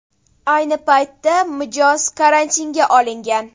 Ayni paytda mijoz karantinga olingan.